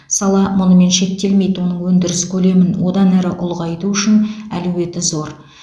сала мұнымен шектелмейді оның өндіріс көлемін одан әрі ұлғайту үшін әлеуеті зор